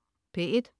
P1: